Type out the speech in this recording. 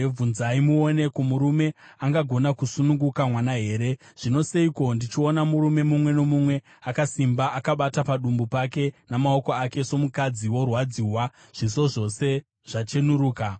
Bvunzai muone: Ko, murume angagona kusununguka mwana here? Zvino, seiko ndichiona murume mumwe nomumwe akasimba akabata padumbu pake namaoko ake somukadzi orwadziwa, zviso zvose zvachenuruka?